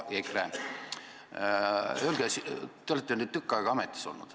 Te olete nüüd tükk aega ametis olnud.